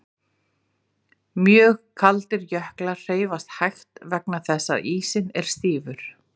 Mjög kaldir jöklar hreyfast hægt vegna þess að ísinn er stífur.